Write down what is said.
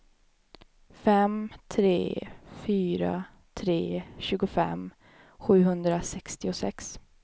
fem tre fyra tre tjugofem sjuhundrasextiosex